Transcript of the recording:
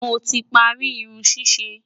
moti parí Irun ṣiṣe